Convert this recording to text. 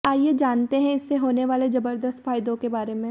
आइए जानते हैं इससे होने वाले जबरदस्त फायदों के बारे में